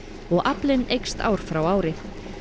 og aflinn eykst ár frá ári